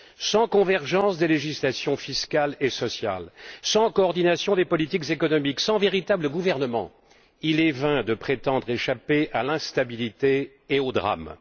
Sans convergence des législations fiscales et sociales, sans coordination des politiques économiques, sans véritable gouvernement, il est vain de prétendre échapper à l'instabilité et aux drames.